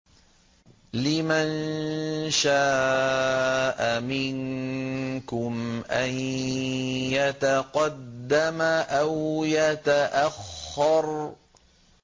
لِمَن شَاءَ مِنكُمْ أَن يَتَقَدَّمَ أَوْ يَتَأَخَّرَ